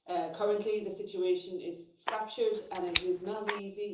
Currently the situation is fractured and it is not easy.